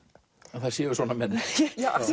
að það séu svona menn